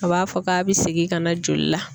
A b'a fɔ k'a bɛ segin ka na joli la.